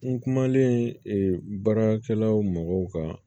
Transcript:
N kumalen baarakɛlaw mɔgɔw kan